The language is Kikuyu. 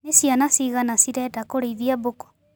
Nĩ ciana cigana cirenda kũrĩithia mbũkũ.